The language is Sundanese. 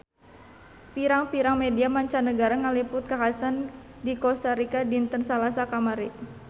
Pirang-pirang media mancanagara ngaliput kakhasan di Kosta Rika dinten Salasa kamari